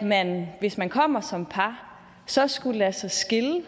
at man hvis man kommer som par så skulle lade sig skille